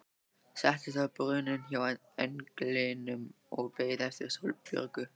Settist á brunninn hjá englinum og beið eftir Sólborgu.